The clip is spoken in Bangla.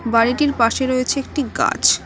বাড়িটির পাশে রয়েছে একটি গাছ।